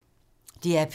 DR P2